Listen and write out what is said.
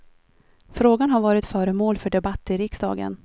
Frågan har varit föremål för debatt i riksdagen.